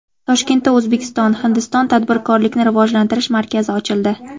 Toshkentda O‘zbekiston – Hindiston tadbirkorlikni rivojlantirish markazi ochildi.